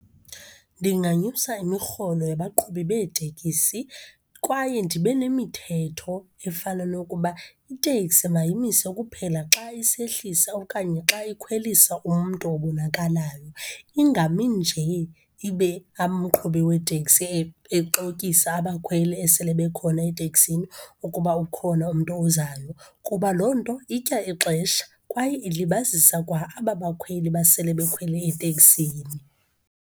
Ndinganyusa imirholo yabaqhubi beetekisi kwaye ndibe nemithetho efana nokuba iteksi mayimise kuphela xa isehlisa okanye xa ikhwelisa umntu obonakalayo, ingami nje. Ibe umqhubi weteksi exokisa abakhweli esele bekhona eteksini ukuba ukhona umntu ozayo kuba loo nto itya ixesha kwaye ilibazisa kwa aba bakhweli basele bekhwele eteksini.